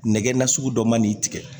Nɛgɛ nasugu dɔ man n'i tigɛ